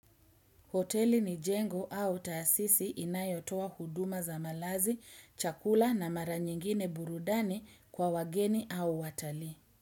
Hoteli ni jengo au taasisi inayotoa huduma za malazi, chakula na mara nyingine burudani kwa wageni au watalii.